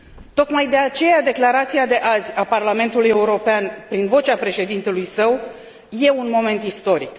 Tocmai de aceea, declarația de azi a Parlamentului European, prin vocea Președintelui său, este un moment istoric.